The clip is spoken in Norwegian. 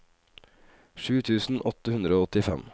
sju tusen åtte hundre og åttifem